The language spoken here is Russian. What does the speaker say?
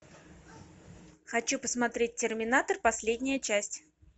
хочу посмотреть терминатор последняя часть